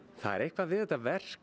það er eitthvað við þetta verk